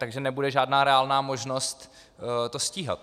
Takže nebude žádná reálná možnost to stíhat.